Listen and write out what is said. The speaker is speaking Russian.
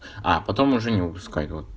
а потом уже не выпускать вот